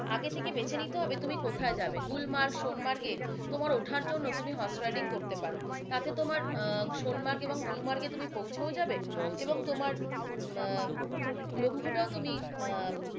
আগে থেকে বেছে নিতে হবে তুমি কোথায় যাবে গুলমার্গ, সোনমার্গে তোমার ওঠার জন্য তুমি হর্স রাইডিং করতে পারো তাতে তুমি গুলমার্গ ও সন্মার্গে তুমি পৌঁছেও যাবে এবং তোমার উম লক্ষটাও তুমি আহ